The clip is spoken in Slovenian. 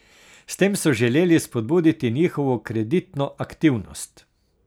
S tem so želeli spodbuditi njihovo kreditno aktivnost.